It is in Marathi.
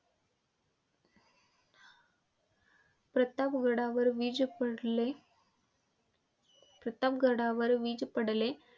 प्रतापगडावर वीज पडली प्रतापगडावर वीज पडली.